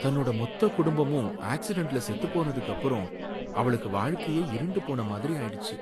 தன்னோட மொத்த குடும்பமும் ஆக்சிடென்ட்ல செத்துப்போனதுக்கு அப்புறம் அவளுக்கு வாழ்க்கையே இருண்டு போன மாதிரி ஆயிடுச்சு.